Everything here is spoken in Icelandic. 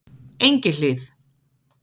Engihlíð